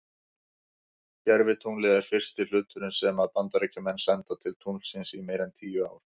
Gervitunglið er fyrsti hluturinn sem að Bandaríkjamenn senda til tunglsins í meira en tíu ár.